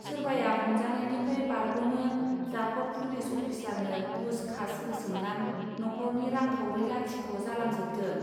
सोरबाया हमजानायनिफ्राय बारगनो जाखर पुलिस अफिसारनो गुस खास होसोमनान न'खरनि रांखावरि लाथिख' जालांजोबदों.